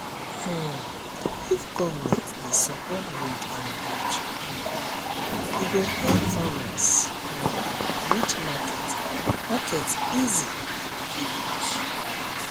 um if government dey support road and bridge um e go help farmers um reach market market easy for village